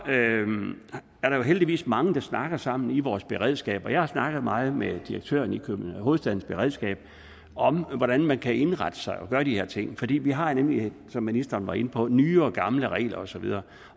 er der jo heldigvis mange der snakker sammen i vores beredskab og jeg har snakket meget med direktøren i hovedstadens beredskab om hvordan man kan indrette sig og gøre de her ting fordi vi har nemlig som ministeren var inde på nye og gamle regler og så videre